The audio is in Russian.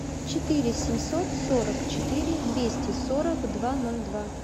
четыре семьсот сорок четыре двести сорок два ноль два